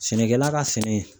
Sɛnɛkɛla ka sɛnɛ